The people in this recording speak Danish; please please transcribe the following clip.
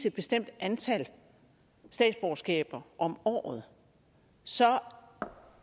et bestemt antal statsborgerskaber om året så